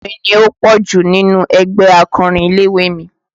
Obìnrin ni ó pọ̀ jù nínú ẹgbẹ́ akọrin ilé-ìwé mi